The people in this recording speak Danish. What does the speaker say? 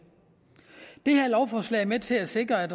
det her lovforslag er med til at sikre at